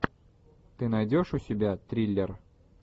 ты найдешь у себя триллер